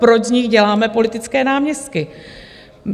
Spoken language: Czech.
Proč z nich děláme politické náměstky?